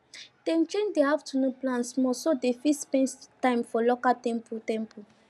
dem change their afternoon plan small so dem fit spend time for local temple temple